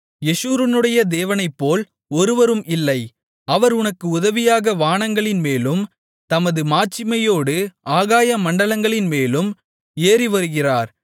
யெஷூரனுடைய தேவனைப்போல் ஒருவரும் இல்லை அவர் உனக்கு உதவியாக வானங்களின்மேலும் தமது மாட்சிமையோடு ஆகாய மண்டலங்களின் மேலும் ஏறிவருகிறார்